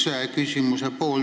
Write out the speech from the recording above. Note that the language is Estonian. See on küsimuse üks pool.